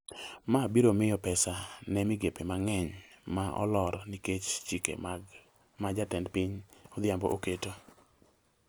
ma biro miyo pesa ne migepe mang’eny ma olor nikech chike ma Jatend piny Odhiambo oketo.